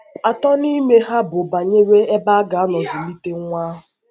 Atọ n’ime ha bụ banyere ebe a ga - anọ zụlite nwa ahụ.